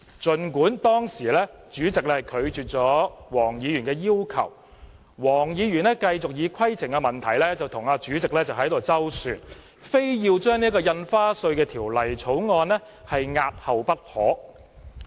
儘管主席當時拒絕黃議員的要求，但黃議員繼續以規程問題與主席周旋，非要把《條例草案》押後不可。